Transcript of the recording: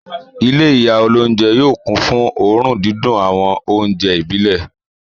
Ilé ìyá olóúnjẹ yóò kún fún òórùn dídùn àwọn oúnjẹ ìbílẹ̀.